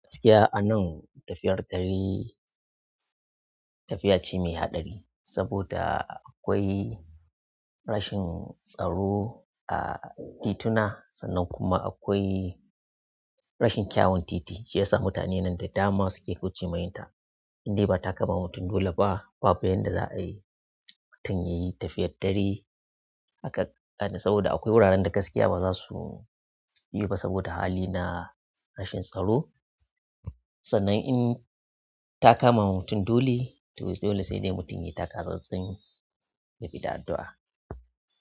Gaskiya a nan tafiyar dare tafiya ce mai haɗari, saboda akwai rashin tsaro a tituna sannan kuma akwai rashin kyawun titi shi ya sa mutane nan da dama suke kaucewa yinta indai ba ta ka ma mutum dole ba, babu yadda za a yi mutum ya yi tafiyar dare haka, saboda akwai wuraren da gaskiya ba za su yi ba saboda hali na rashin tsaro. Sannan in, ta ka ma mutum dole, to dole sai dai mutum yai ta ka tsatsin yabi da addu'a.